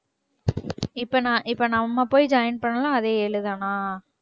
இப்ப நா~ இப்ப நம்ம போய் join பண்ணாலும் அதே ஏழு தானா?